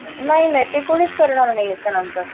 नाही नाही ते कोणीच करणार नाही याच्या नंतर